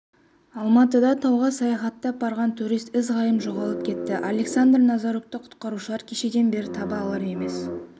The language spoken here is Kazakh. алматыда тауға саяхаттап барған турист ізім-ғайым жоғалып кетті александр назарукті құтқарушылар кешеден бері таба алар емес